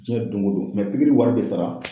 Jiyɛn don go don pikiri bɛ wari bɛ sara.